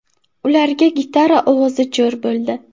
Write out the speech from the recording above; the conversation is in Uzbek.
Ularga gitara ovozi jo‘r bo‘ldi.